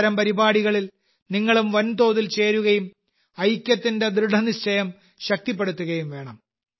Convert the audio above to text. അത്തരം പരിപാടികളിൽ നിങ്ങളും വൻതോതിൽ ചേരുകയും ഐക്യത്തിന്റെ ദൃഢനിശ്ചയം ശക്തിപ്പെടുത്തുകയും വേണം